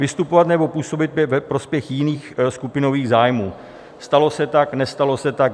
"Vystupovat nebo působit ve prospěch jiných skupinových zájmů" - stalo se tak, nestalo se tak?